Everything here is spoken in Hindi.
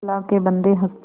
अल्लाह के बन्दे हंस दे